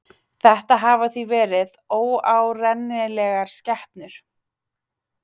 Þetta hafa því verið óárennilegar skepnur.